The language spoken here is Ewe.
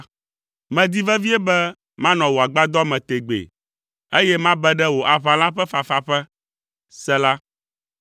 Medi vevie be manɔ wò agbadɔ me tegbee, eye mabe ɖe wò aʋala ƒe fafaƒe. Sela